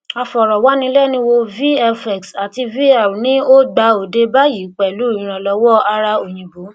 aforo wanilenuwo vfx àti vr ni ó ó gbà òde bayi pelu iranlowo ara oyinbo